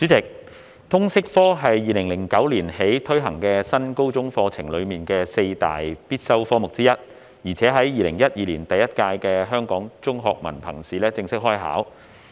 主席，通識教育科是自2009年起推行的新高中課程的四大必修科目之一，在2012年第一屆香港中學文憑考試正式開考。